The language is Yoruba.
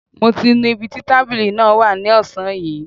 Mo ti nu ibi tí tábìlì náà wà ní ọ̀sán yìí